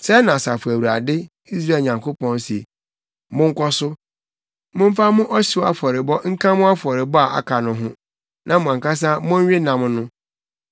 “ ‘Sɛɛ na Asafo Awurade, Israel Nyankopɔn, se: Monkɔ so, momfa mo ɔhyew afɔrebɔ nka mo afɔrebɔ a aka no ho, na mo ankasa monwe nam no!